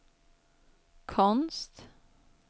konst